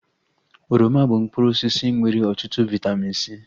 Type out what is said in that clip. Oroma bụ mkpụrụ osisi nwere ọtụtụ vaitamin C